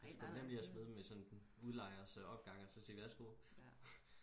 det er sku nemt lige og smide det i sådan udlejers opgang og så sige vær så god